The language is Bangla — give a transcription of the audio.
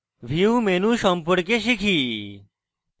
view menu সম্পর্কে শিখি